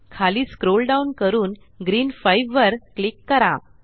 खाली scroll down करून green 5 वर क्लिक करा